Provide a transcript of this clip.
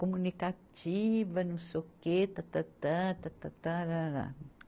Comunicativa, não sei o quê, ta-ta-ta, ta-ta-ta-ra-ra.